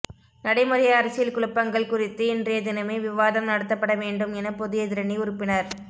நடைமுறை அரசியல் குழப்பங்கள் குறித்து இன்றைய தினமே விவாதம் நடத்தப்பட வேண்டும் என பொது எதிரணி உறுப்பினர்